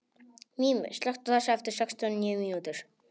Mímir, slökktu á þessu eftir sextíu og níu mínútur.